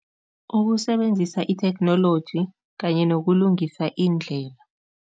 Ukusebenzisa i-theknoloji kanye nokulungisa indlela.